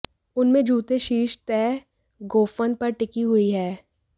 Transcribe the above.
उन में जूते शीर्ष तय गोफन पर टिकी हुई है